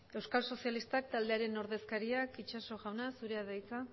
euskal sozialistak taldearen ordezkariak itxaso jauna zurea da hitza